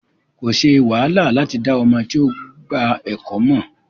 Ko ṣe wàhálà lati da ọmọ ti o gba ẹkọ mọ.